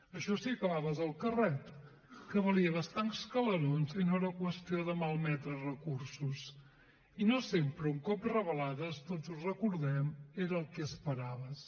això si acabaves el carret que valia bastants calerons i no era qüestió de malmetre recursos i no sempre un cop revelades tots ho recordem era el que esperaves